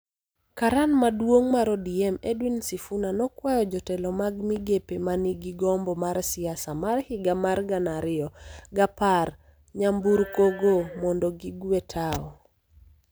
Karan Maduong' mar ODM, Edwin Sifuna, nokwayo jotelo mag migepe ma nigi gombo mar siasa mar higa mar gana ariyo gapar nyamburkoyo mondo gigwe tao.